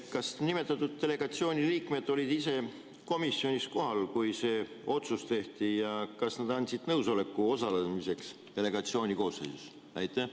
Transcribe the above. Kas nimetatud delegatsiooni liikmed olid ise komisjonis kohal, kui see otsus tehti, ja kas nad andsid nõusoleku osalemiseks delegatsiooni koosseisus?